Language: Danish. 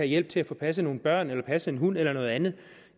hjælp til at få passet nogle børn eller passet en hund eller noget andet